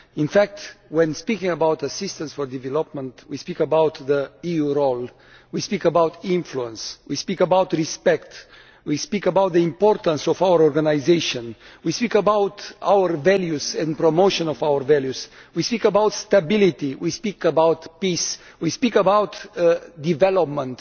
In fact when speaking about assistance for development we speak about the EUʼs role, we speak about about influence, we speak about respect, we speak about the importance of our organisation, we speak about our values and promotion of our values, we speak about stability and peace, we speak about development.